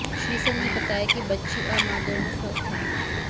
श्रीसंत ने बताया कि बच्ची और मां दोनों स्वस्थ हैं